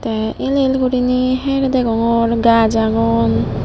te el el guriney her degongor gaj agon.